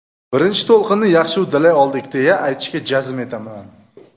Birinchi to‘lqinni yaxshi uddalay oldik deya, aytishga jazm etaman.